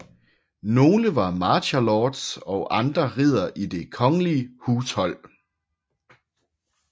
Nogle var Marcher Lords og andre riddere i det kongelige hushold